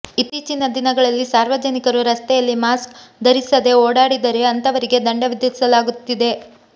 ಇತ್ತೀಚಿನ ದಿನಗಳಲ್ಲಿ ಸಾರ್ವಜನಿಕರು ರಸ್ತೆಯಲ್ಲಿ ಮಾಸ್ಕ್ ಧರಿಸದೆ ಓಡಾಡಿದರೆ ಅಂತವರಿಗೆ ದಂಡ ವಿಧಿಸಲಾಗುತ್ತಿದೆ